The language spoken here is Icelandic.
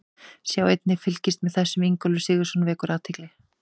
Sjá einnig: Fylgist með þessum: Ingólfur Sigurðsson vekur athygli